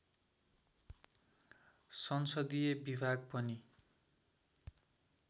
संसदीय विभाग पनि